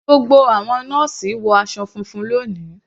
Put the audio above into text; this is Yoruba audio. Gbogbo àwọn nọ́ọ́sì wọ aṣọ funfun lóni.